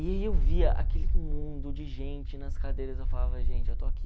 E eu via aquele mundo de gente nas cadeiras, eu falava, gente, eu estou aqui.